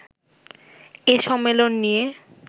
এ সম্মেলন নিয়ে